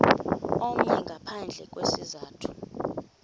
omnye ngaphandle kwesizathu